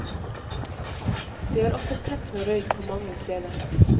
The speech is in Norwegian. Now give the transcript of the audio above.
Det er ofte tett med røyk må mange steder.